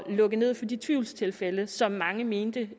lukke ned for de tvivlstilfælde som mange mente